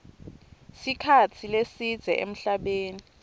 sikhatsi lesidze emhlabeni